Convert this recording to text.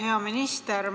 Hea minister!